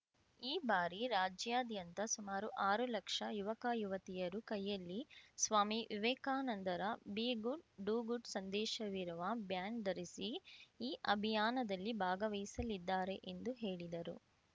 ಈ ಬಾರಿ ರಾಜ್ಯಾದ್ಯಂತ ಸುಮಾರು ಆರು ಲಕ್ಷ ಯುವಕಯುವತಿಯರು ಕೈಯಲ್ಲಿ ಸ್ವಾಮಿ ವಿವೇಕಾನಂದರ ಬಿ ಗುಡ್‌ಡೂ ಗುಡ್‌ ಸಂದೇಶವಿರುವ ಬ್ಯಾಂಡ್‌ ಧರಿಸಿ ಈ ಅಭಿಯಾನದಲ್ಲಿ ಭಾಗವಹಿಸಲಿದ್ದಾರೆ ಎಂದು ಹೇಳಿದರು